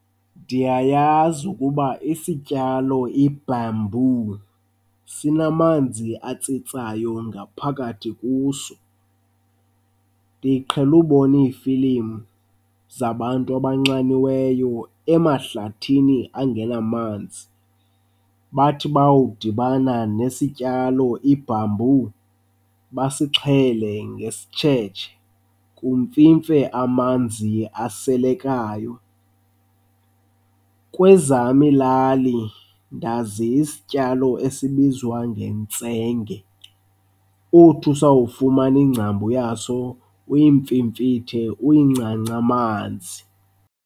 Ndiyayazi ukuba isityalo ibhambu sinamanzi atsitsayo ngaphakathi kuso. Ndiqhele ubona iifilim zabantu abanxaniweyo emahlathini angenamanzi, bathi bawudibana nesityalo ibhambu basixhele ngesitshetshe kumfimfe amanzi aselekayo. Kwezam iilali ndazi isityalo esibizwa ngentsenge, uth usawufumana ingcambu yaso uyimfimfithe uyincance amanzi.